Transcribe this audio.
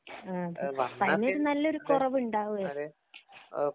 അപ്പോ അതിനൊരു നല്ല കുറവുണ്ടാകുമായിരിക്കും